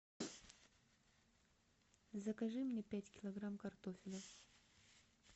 закажи мне пять килограмм картофеля